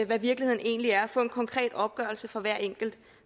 hvad virkeligheden egentlig er og få en konkret opgørelse for hver enkelt